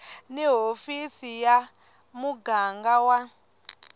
ni hofisi ya muganga wa